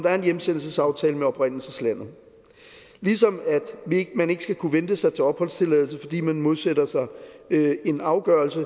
er en hjemsendelsesaftale med oprindelseslandet ligesom at man ikke skal kunne vente sig til opholdstilladelse fordi man modsætter sig en afgørelse